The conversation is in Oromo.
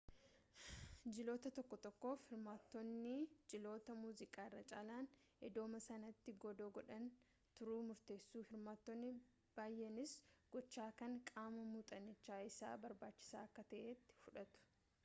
jiloota tokko tokkoof hirmaattotni jiloota muuziqaa irra caalaan iddooma sanatti godoo godhatani turuu murteessu hirmaattonni baayyeenis gocha kana qaama muuxannichaa isa barbaachisaa akka ta'etti fudhatu